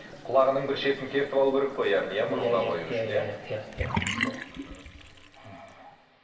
құлағының бір шетін кертіп алу керек қой яғни иә мұрынға қою үшін иә иә сол мхм